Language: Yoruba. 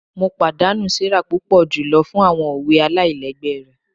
Mo padanu Sarah pupọ julọ fun awọn owe alailẹgbẹ rẹ